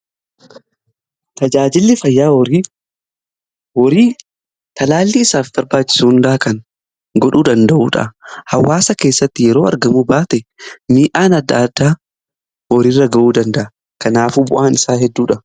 Tajaajilli fayyaa horii talaallii isaaf barbaachisu hundaa kan godhuu danda'uudha hawaasa keessatti yeroo argamu baate miidhaan adda adaa horiirra ga'uu danda'a kanaafu bu'aan isaa hedduudha.